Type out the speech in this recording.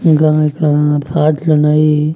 ఇంకా ఇక్కడ థాట్లున్నాయి.